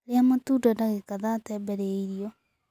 Ria matunda ndagika thate mbere ya irio